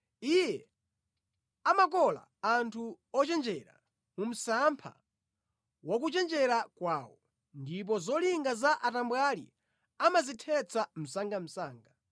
Iye amakola anthu ochenjera mu msampha wa kuchenjera kwawo, ndipo zolinga za atambwali amazithetsa msangamsanga.